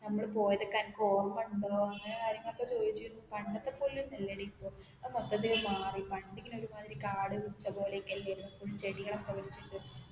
നമ്മൾ പോയത് ഒക്കേ ഓർമ ഉണ്ടോന്നു കാര്യങ്ങൾ ഒക്കേ ചോദിച്ചിരുന്നു പണ്ടത്തെ പോലെ ഒന്നും അല്ലെടി ഇപ്പോ മൊത്തത്തിൽ ഇപ്പോ മാറി പണ്ട് ഇങ്ങനേ ഒരുമാതിരി കാട് പിടിച്ച പോലെ ഒക്കേ അല്ലായിരുന്നെ ഫുൾ ചെടികൾ ഒക്കേ വെച്ചിട്ടു